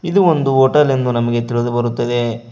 ಇದು ಒಂದು ಹೋಟೆಲ್ ಎಂದು ನಮಗೆ ತಿಳಿದು ಬರುತ್ತದೆ.